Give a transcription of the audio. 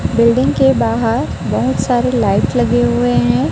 Building के बाहर बहोत सारे लाइट लगे हुवे हैं।